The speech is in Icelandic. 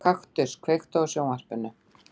Kaktus, kveiktu á sjónvarpinu.